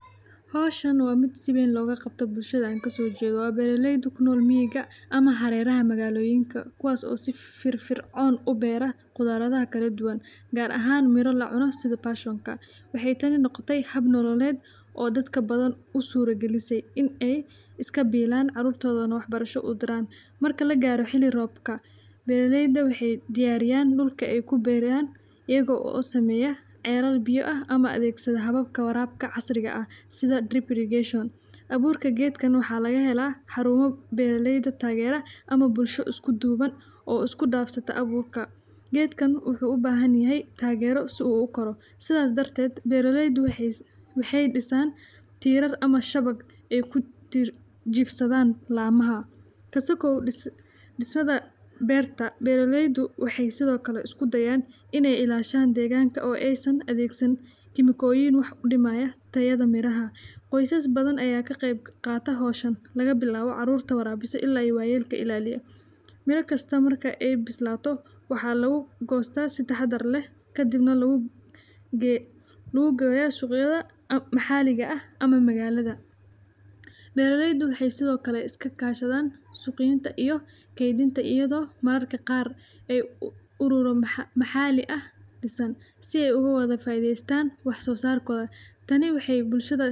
Canuud waa midho aad u macaan oo leh dhadhan qurux badan oo isku dhex dhafan kala ah qadhaadh iyo macaan, kaas oo badanaa laga helo meelaha qorraxda badan ee Afrika, Aasiya, iyo Ameerika, waxaana lagu isticmaalaa in lagu sameeyo cabitaanno, jallaabado, iyo macmacaan, siiba kuleylka marka ay diiran tahay waxay keentaa raaxo weyn, waxayna ka kooban tahay biyo badan oo faa'iido u leh caafimaadka, gaar ahaan qofka u baahan inuu cuno wax nafaqo leh, canuudku waxay kor uga baxda geed dheer oo ubax madoow iyo casaan leh, waxayna noqon kartaa mid la isku daro saliidda, sabaagga, ama caleenka mint ama canaana si loo sameeyo dhadhan kala duwan oo xiiso leh.